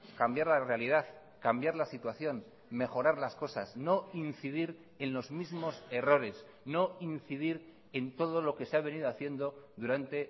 cambiar la realidad cambiar la situación mejorar las cosas no incidir en los mismos errores no incidir en todo lo que se ha venido haciendo durante